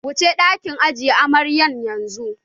Wuci ɗakin ajiye amaryan yanzu!